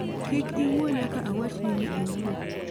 Kik iwuo nyaka awachni ni iwuo